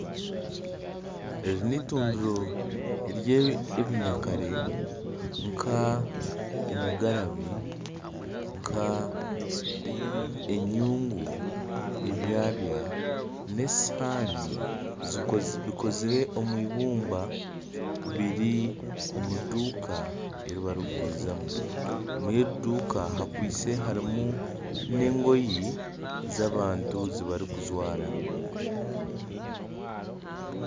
Eri n'eitundiro ry'ebinyakare nk'engarabi, enyungu, ebyabya nesihaani bikozire omu ibumba biri omuduuka eri barikugurizamu omuri egyo duuka harimu nengoye z'abantu ezibarikujwara